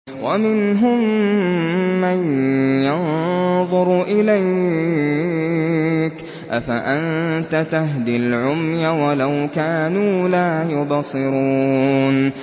وَمِنْهُم مَّن يَنظُرُ إِلَيْكَ ۚ أَفَأَنتَ تَهْدِي الْعُمْيَ وَلَوْ كَانُوا لَا يُبْصِرُونَ